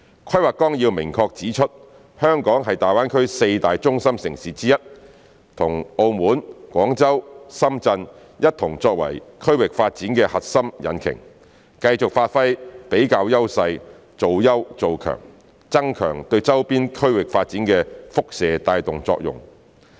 《規劃綱要》明確指出，香港是大灣區四大中心城市之一，與澳門、廣州、深圳一同作為區域發展的核心引擎，繼續發揮比較優勢做優做強，增強對周邊區域發展的輻射帶動作用。